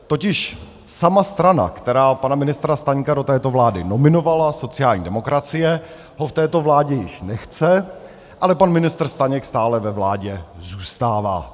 Totiž sama strana, která pana ministra Staňka do této vlády nominovala, sociální demokracie, ho v této vládě již nechce, ale pan ministr Staněk stále ve vládě zůstává.